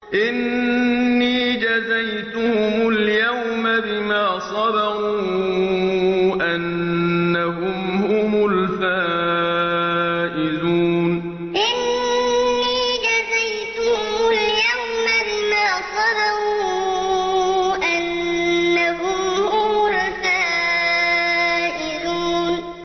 إِنِّي جَزَيْتُهُمُ الْيَوْمَ بِمَا صَبَرُوا أَنَّهُمْ هُمُ الْفَائِزُونَ إِنِّي جَزَيْتُهُمُ الْيَوْمَ بِمَا صَبَرُوا أَنَّهُمْ هُمُ الْفَائِزُونَ